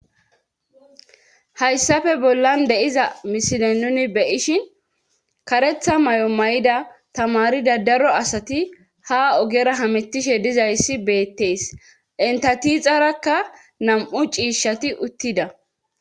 Hayssafe bollan deiza misine nuni beyishin karetha may'o may'ida tamari dadaro asati ha ogera hamettishe dizayssi beettees entatiixarakka nam'u ciishshati uttida.